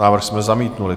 Návrh jsme zamítli.